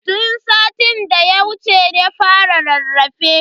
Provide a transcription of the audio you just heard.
Tun satin da ya wuce ya fara rarrafe.